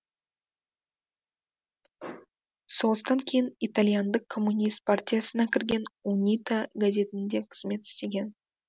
соғыстан кейін итальяндық коммунист партиясына кірген унита газетінде қызмет істеген